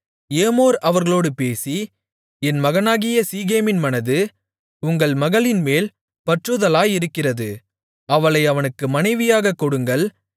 ஏமோர் அவர்களோடு பேசி என் மகனாகிய சீகேமின் மனது உங்கள் மகளின்மேல் பற்றுதலாயிருக்கிறது அவளை அவனுக்கு மனைவியாகக் கொடுங்கள்